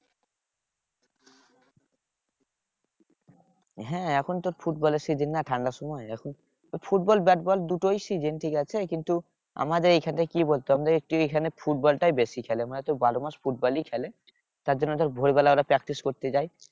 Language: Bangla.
হ্যাঁ এখন তো ফুটবলের season না ঠান্ডার সময় এখন। ফুটবল ব্যাটবল দুটোই season ঠিকাছে? কিন্তু আমাদের এইখানে কি বলতো? আমাদের কেউ এখানে ফুটবলটাই বেশি খেলে মানে তোর বারো মাস ফুটবলই খেলে। তার জন্য ধর ভোরবেলা ওরা practice করতে যায়।